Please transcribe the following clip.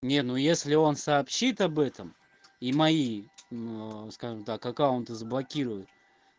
не ну если он сообщит об этом и мои скажем так аккаунты заблокирует